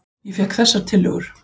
Ég fékk þessar tillögur.